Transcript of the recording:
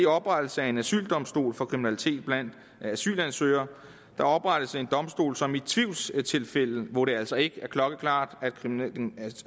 oprettelse af en asyldomstol for kriminalitet blandt asylansøgere der oprettes en domstol som i tvivlstilfælde hvor det altså ikke er klokkeklart